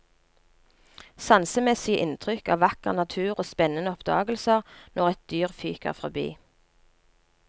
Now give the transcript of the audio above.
Sansemessige inntrykk av vakker natur og spennende oppdagelser når et dyr fyker fordi.